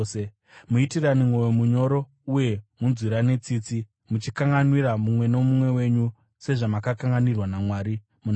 Muitirane mwoyo munyoro uye munzwirane tsitsi, muchikanganwira mumwe nomumwe wenyu, sezvamakakanganwirwa naMwari muna Kristu.